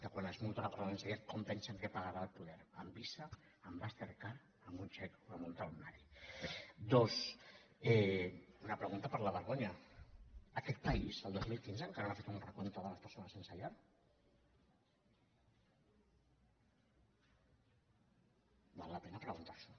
quan es multa una persona sense llar com pensen que pagarà al poder amb visa amb master card amb un xec o amb un talonari dos una pregunta per la vergonya aquest país el dos mil quinze encara no ha fet un recompte de les persones sense llar val la pena preguntar s’ho